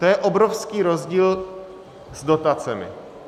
To je obrovský rozdíl s dotacemi.